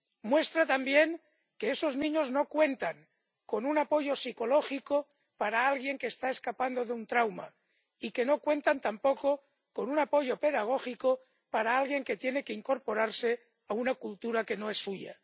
Muestra también que esos niños no cuentan con un apoyo psicológico para alguien que está escapando de un trauma ni cuentan tampoco con un apoyo pedagógico para alguien que tiene que incorporarse a una cultura que no es suya.